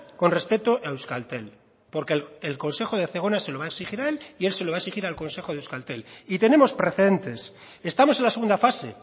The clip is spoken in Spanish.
con respecto a euskaltel porque el consejo de zegona se lo va a exigir a él y él se lo va a exigir al consejo de euskaltel y tenemos precedentes estamos en la segunda fase